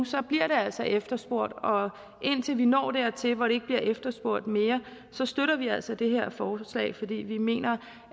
bliver det altså efterspurgt og indtil vi når dertil hvor det ikke bliver efterspurgt mere støtter vi altså det her forslag fordi vi mener